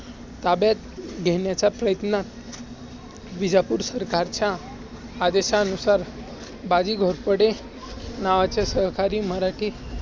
ताब्यात घेण्याचा प्रयत्न विजापूर सरकारच्या आदेशानुसार बाजी घोरपडे सरकारी मराठी